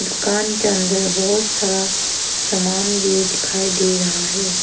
दुकान के अंदर बहोत सारा सामान भी दिखाई दे रहा है।